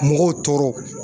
Mɔgɔw tɔɔrɔ